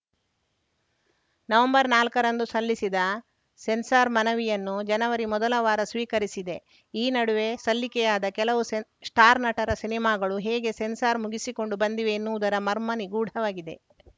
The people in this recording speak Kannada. ನವೆಂಬರ್‌ ನಾಲ್ಕರಂದು ಸಲ್ಲಿಸಿದ ಸೆನ್ಸಾರ್‌ ಮನವಿಯನ್ನು ಜನವರಿ ಮೊದಲ ವಾರ ಸ್ವೀಕರಿಸಿದೆ ಈ ನಡುವೆ ಸಲ್ಲಿಕೆಯಾದ ಕೆಲವು ಸೆನ್ ಸ್ಟಾರ್‌ ನಟರ ಸಿನಿಮಾಗಳು ಹೇಗೆ ಸೆನ್ಸಾರ್‌ ಮುಗಿಸಿಕೊಂಡು ಬಂದಿವೆ ಎನ್ನುವುದರ ಮರ್ಮ ನಿಗೂಢವಾಗಿದೆ